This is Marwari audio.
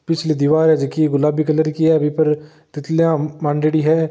पिछली दिवार है जो की गुलाबी कलर की है ऊपर तितलियाँ मांडेडी है।